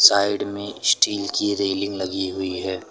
Side में steel की railing लगी हुई है।